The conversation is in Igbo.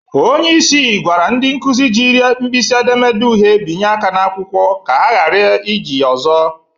Onyeisi gwara ndị nkụzị jiri mpịsị edemede uhe binye aka n'akwụkwọ ka ha ghara iji ya ọzọ.